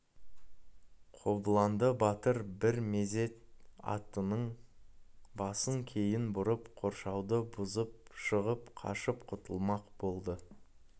қобыланды батыр бір мезет атының басын кейін бұрып қоршауды бұзып шығып қашып құтылмақ болды